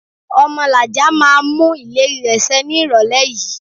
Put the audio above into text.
Omolaja máa mú ìlérí rẹ ṣe ní ìrólé yìí